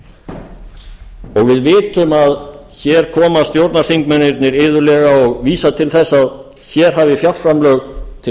áhyggjuefni og við vitum að hér koma stjórnarþingmennirnir iðulega og vísa til þess að hér hafi fjárframlög til